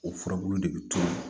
O furabulu de bi to